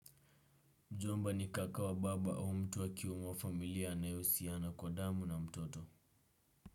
Mjomba ni kaka wa baba au mtu wa kiume wa familia anayehusiana kwa damu na mtoto.